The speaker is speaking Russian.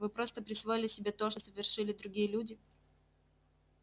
вы просто присвоили себе то что совершили другие люди